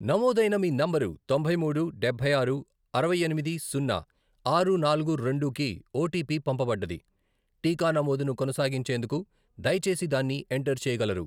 నమోదైన మీ నంబరు తొంభల్ మూడు, డబ్బై ఆరు, అరవై ఎనిమిది, సున్నా, ఆరు, నాలుగు, రెండు, కి ఓటీపీ పంపబడ్డది, టీకా నమోదును కొనసాగించేందుకు దయచేసి దాన్ని ఎంటర్ చేయగలరు.